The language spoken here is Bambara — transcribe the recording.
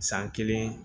San kelen